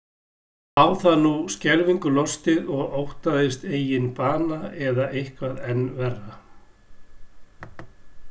Lá það núna skelfingu lostið og óttaðist eigin bana eða eitthvað enn verra?